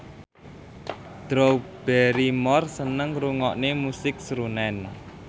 Drew Barrymore seneng ngrungokne musik srunen